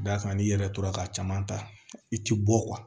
Da kan n'i yɛrɛ tora ka caman ta i ti bɔ